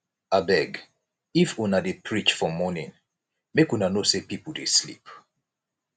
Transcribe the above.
abeg if una dey preach for morning make una know sey pipo dey sleep